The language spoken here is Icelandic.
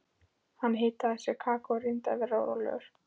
Hann hitaði sér kakó og reyndi að vera rólegur.